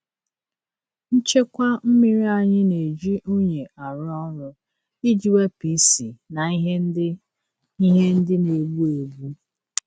Nchekwa mmiri anyị na-eji unyi arụ ọrụ iji wepụ isi na ihe ndị ihe ndị na-egbu egbu.